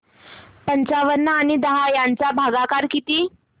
पंचावन्न आणि दहा चा भागाकार किती